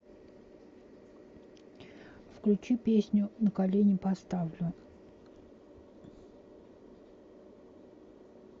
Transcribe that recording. включи песню на колени поставлю